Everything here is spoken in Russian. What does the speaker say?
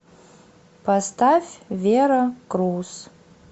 поставь вера круз